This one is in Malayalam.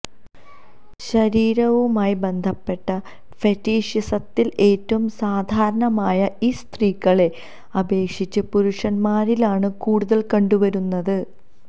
ശരീരവുമായി ബന്ധപ്പെട്ട ഫെറ്റിഷിസത്തില് ഏറ്റവും സാധാരണമായ ഇത് സ്ത്രീകളെ അപേക്ഷിച്ച് പുരുഷന്മാരിലാണ് കൂടുതല് കണ്ടുവരുന്നത്